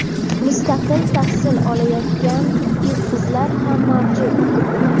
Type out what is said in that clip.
mustaqil tahsil olayotgan yigit-qizlar ham mavjud.